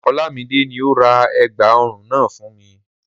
Olamide ni ó ra ẹ̀gbà ọrùn náà fún mi.